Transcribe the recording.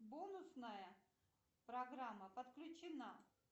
бонусная программа подключена